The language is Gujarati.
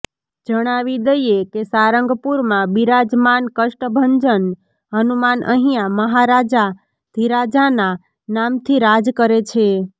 જણાવી દઇએ કે સારંગપુરમાં બિરાજમાન કષ્ટભંજન હનુમાન અહીંયા મહારાજાધિરાજાના નામથી રાજ કરે છે